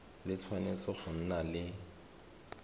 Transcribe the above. le tshwanetse go nna le